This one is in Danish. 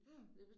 Mh